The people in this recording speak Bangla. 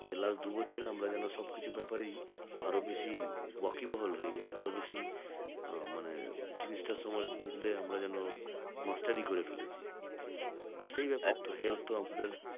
যে last দুই বছরের আমরা যেন সবকিছু ব্যাপারেই আরো বেশি ওয়াকিবহাল হয়ে গেছি আরো বেশি আহ মানে জিনিসটা সম্বন্ধে আমরা যেন mastery করে ফেলেছি তো সেই ব্যাপারে health ও আমাদের